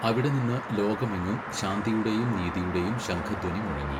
അവിടെ നിന്ന് ലോകമെങ്ങും ശാന്തിയുടെയും നീതിയുടേയും ശംഖധ്വനി മുഴങ്ങി.